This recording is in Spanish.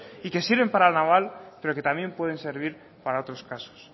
y que sirven para la naval pero que también pueden servir para otros casos